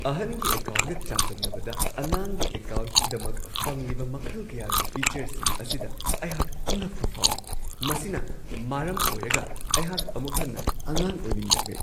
ꯑꯍꯟꯒꯤ ꯑꯦꯀꯥꯎꯟꯒ ꯑꯃꯒ ꯆꯥꯡꯗꯝꯅꯕꯗ ꯑꯉꯥꯡꯒꯤ ꯑꯦꯀꯥꯎꯟꯒꯤꯗꯃꯛ ꯐꯪꯂꯤꯕ ꯃꯈꯜ ꯀꯌꯥꯒꯤ ꯐꯤꯆꯔꯁꯤꯡ ꯑꯁꯤꯗ ꯑꯩꯍꯥꯛ ꯉꯛꯄ ꯐꯥꯎꯋꯤ ꯫ ꯃꯁꯤꯅ ꯃꯔꯝ ꯑꯣꯏꯔꯒ ꯑꯩꯍꯥꯛ ꯑꯃꯨꯛ ꯍꯟꯅ ꯑꯉꯥꯡ ꯑꯣꯏꯅꯤꯡꯂꯛꯂꯦ ꯫